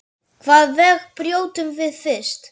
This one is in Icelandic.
Hvaða vegg brjótum við fyrst?